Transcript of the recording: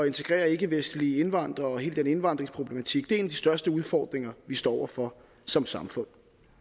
integrere ikkevestlige indvandrere og hele den indvandringsproblematik er en største udfordringer vi står over for som samfund